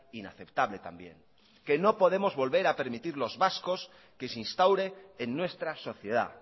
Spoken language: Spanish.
inaceptable también que no podemos volver a permitir los vascos que se instaure en nuestra sociedad